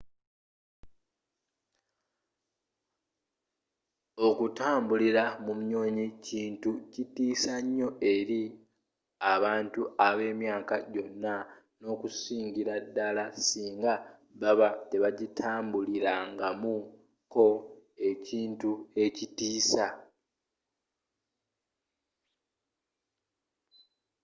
okutambulira mu nnyonyi kintu kitiisa nyoo eri abantu abemyaka jona n'okusingira dala singa baba tebagitambulirangamu ko ekintu ekitiisa